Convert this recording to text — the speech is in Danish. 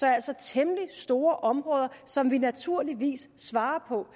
er altså temmelig store områder som vi naturligvis svarer på